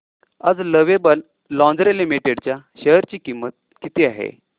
आज Lovable Lingerie Limited च्या share ची किंमत किती आहे